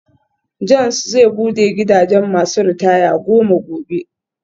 John's zai bude gidajen masu ritaya goma gobe.